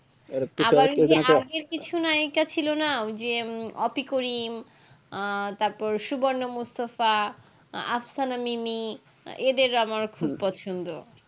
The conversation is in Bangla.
আবার ওই যে আগের কিছু নায়িকা ছিল না ওই যে ওতিকরিম আহ তার পর সুবর্ণ মুস্তফা আস্ফানামিনি এদের আমার খুব পছন্দ